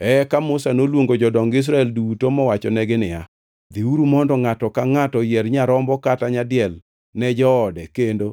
Eka Musa noluongo jodong Israel duto mowachonegi niya, “Dhiuru mondo ngʼato ka ngʼato oyier nyarombo kata nyadiel ne joode kendo